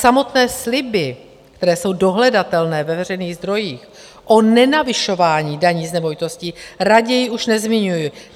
Samotné sliby, které jsou dohledatelné ve veřejných zdrojích, o nenavyšování daní z nemovitostí raději už nezmiňuji.